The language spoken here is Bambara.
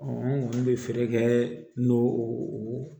an kɔni bɛ feere kɛ n'o